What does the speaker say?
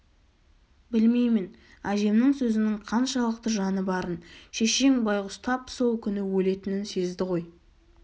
білмеймін әжемнің сөзінің қаншалықты жаны барын шешең байғұс тап сол күні өлетінін сезді ғой